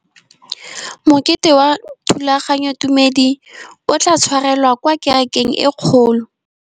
Mokete wa thulaganyôtumêdi o tla tshwarelwa kwa kerekeng e kgolo.